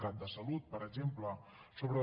cat de salut per exemple sobre el